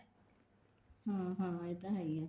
ਹਾਂ ਹਾਂ ਇਹ ਤਾਂ ਹੈ ਹੀ ਹੈ